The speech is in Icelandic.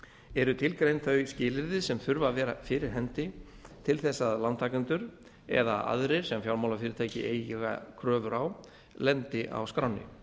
eru tilgreind þau skilyrði sem þurfa að vera fyrir hendi til þess að lántakendur eða aðrir sem fjármálafyrirtæki eiga kröfur á lendi á skránni